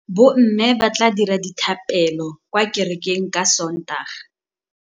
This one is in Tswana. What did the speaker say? Bommê ba tla dira dithapêlô kwa kerekeng ka Sontaga.